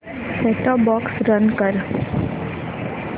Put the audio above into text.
set top box run कर